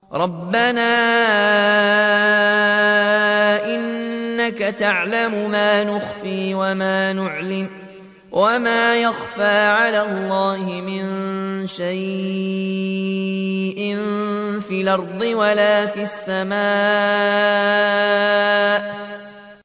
رَبَّنَا إِنَّكَ تَعْلَمُ مَا نُخْفِي وَمَا نُعْلِنُ ۗ وَمَا يَخْفَىٰ عَلَى اللَّهِ مِن شَيْءٍ فِي الْأَرْضِ وَلَا فِي السَّمَاءِ